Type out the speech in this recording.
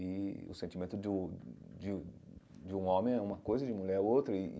E o sentimento do de de um homem é uma coisa, de mulher é outra e e.